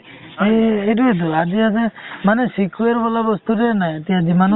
সেইটোৱেটো আজি আছে মানে sequel বোলা বস্তুটোৱে নাই যিমানো